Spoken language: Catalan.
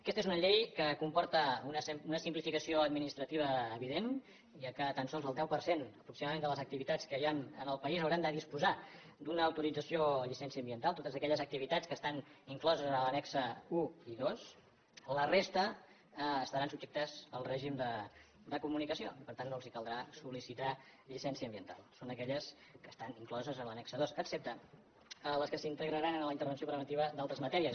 aquesta és una llei que comporta una simplificació administrativa evident ja que tan sols el deu per cent aproximadament de les activitats que hi han en el país hauran de disposar d’una autorització o llicència ambiental totes aquelles activitats que estan incloses en els annexos un i dos la resta estaran subjectes al règim de comunicació per tant no els caldrà sol·licitar llicència ambiental són aquelles que estan incloses en l’annex dos excepte les que s’integraran en la intervenció preventiva d’altres matèries